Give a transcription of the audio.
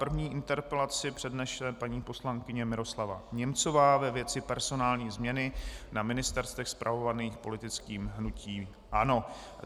První interpelaci přednese paní poslankyně Miroslava Němcová ve věci personální změny na ministerstvech spravovaných politickým hnutím ANO.